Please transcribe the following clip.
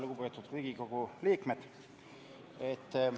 Lugupeetud Riigikogu liikmed!